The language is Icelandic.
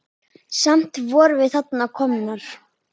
Samt vorum við þarna komnar.